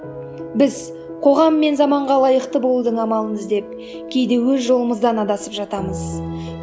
біз қоғам мен заманға лайықты болудың амалын іздеп кейде өз жолымыздан адасып жатамыз